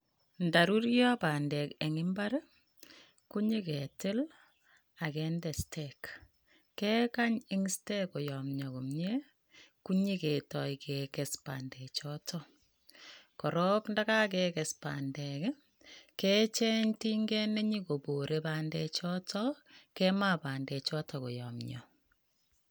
Ndaruryo bandek eng imbar ii, ko nyeketil ak kende stake, kekany ing stake koyomnyo komie konyiketoi kekes bandechoto, korok ndakakekes bandek ii, kecheng tinget ne nyikobore bandechoto, kemaa bandechoto koyomnyo.